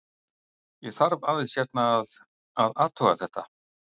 Ég þarf aðeins hérna að. að athuga þetta.